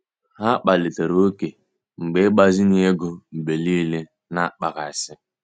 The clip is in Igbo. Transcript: Ha kpalitere ókè mgbe ịgbazinye ego mgbe niile na-akpaghasị.